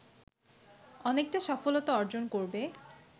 অনেকটা সফলতা অর্জন করবে